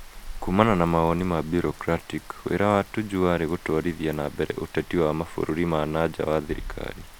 Kuumana na mawoni ma bureaucratic, wĩra wa Tuju warĩ gũtwarithia na mbere ũteti wa mabũrũri ma na nja wa thirikari.